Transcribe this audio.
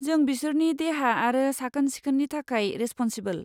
जों बिसोरनि देहा आरो साखोन सिखोननि थाखाय रेसप'नसिबोल।